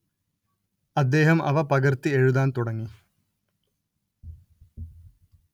അദ്ദേഹം അവ പകര്‍ത്തി എഴുതാന്‍ തുടങ്ങി